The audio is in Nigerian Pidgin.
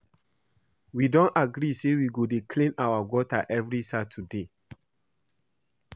We don agree say we go dey clean our gutter every Saturday